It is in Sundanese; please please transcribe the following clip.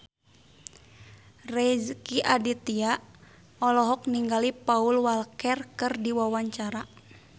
Rezky Aditya olohok ningali Paul Walker keur diwawancara